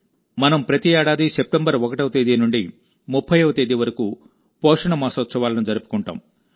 మనం ప్రతి ఏడాది సెప్టెంబర్ 1వ తేదీ నుండి 30వ తేదీ వరకు పోషణమాసోత్సవాలను జరుపుకుంటాం